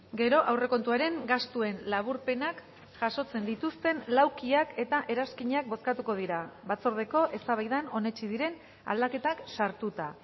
gero aurrekontuaren gastuen laburpenak jasotzen dituzten laukiak eta eranskinak bozkatuko dira batzordeko eztabaidan onetsi diren aldaketak sartuta